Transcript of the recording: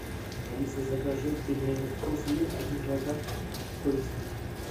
алиса закажи пельмени вкусвилл один килограмм с курицей